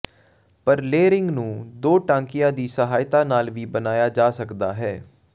ਪਰ ਲੇਅਰਿੰਗ ਨੂੰ ਦੋ ਟਾਂਕਿਆਂ ਦੀ ਸਹਾਇਤਾ ਨਾਲ ਵੀ ਬਣਾਇਆ ਜਾ ਸਕਦਾ ਹੈ